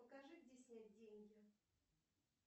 покажи где снять деньги